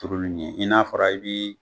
Turuli ɲɛ i n'a fɔra i bi